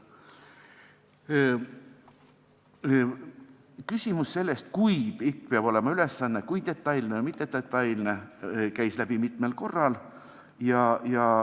Küsimus sellest, kui pikk peab ülesanne olema, kui detailne või mittedetailne, käis mitmel korral läbi.